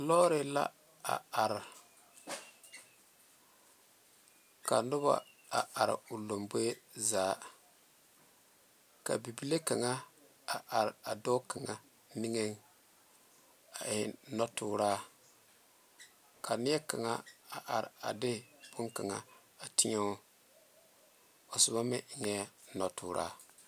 Lɔɔre la a are ka noba are gole ka bebile kaŋa are a be a eŋ noɔ tuoro ka neɛ kaŋ are de bone kaŋa tɛɛo a soba enɛ noɔ tuoro.